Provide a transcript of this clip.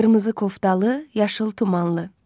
Qırmızı koftalı, yaşıl tumanlı.